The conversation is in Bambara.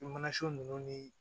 I mana so ninnu ni